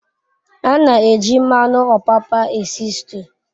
A n'eji mmanu opapa esi stu